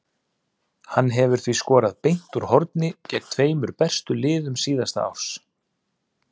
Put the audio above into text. Hann hefur því skorað beint úr horni gegn tveimur bestu liðum síðasta árs.